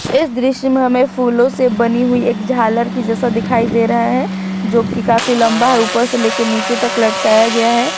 इस दृश्य में हमें फूलों से बनी हुई एक झालर की जैसा दिखाई दे रहा है जो की काफी लंबा है ऊपर से लेके नीचे तक लटकाया गया है।